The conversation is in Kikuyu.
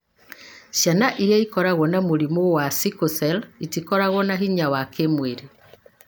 Ciana iria ikoragwo na mũrimũ wa sickle cell itikoragwo na hinya wa kĩĩmwĩrĩ